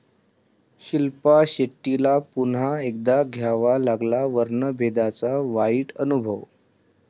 शिल्पा शेट्टीला पुन्हा एकदा घ्यावा लागला वर्णभेदाचा वाईट अनुभव